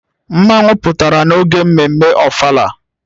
Mmanwu pụtara n'oge mmemme ofala